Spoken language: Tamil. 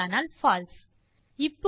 இல்லையானால் பால்சே